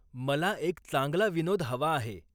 मला एक चांगला विनोद हवा आहे